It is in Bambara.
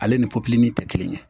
Ale ni pɔpiyinin tɛ kelen ye